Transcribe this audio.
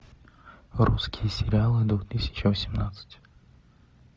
русские сериалы две тысячи восемнадцать